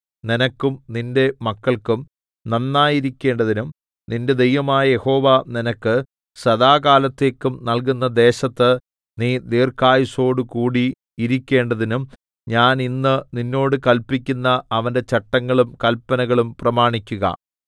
നിനക്കും നിന്റെ മക്കൾക്കും നന്നായിരിക്കേണ്ടതിനും നിന്റെ ദൈവമായ യഹോവ നിനക്ക് സദാകാലത്തേക്കും നല്കുന്ന ദേശത്ത് നീ ദീർഘായുസ്സോടു കൂടി ഇരിക്കേണ്ടതിനും ഞാൻ ഇന്ന് നിന്നോട് കല്പിക്കുന്ന അവന്റെ ചട്ടങ്ങളും കല്പനകളും പ്രമാണിക്കുക